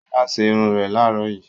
Ṣọlá ṣe irun rẹ̀ láàárọ̀ yìí.